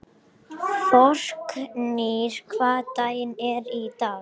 Þórgnýr, hvaða dagur er í dag?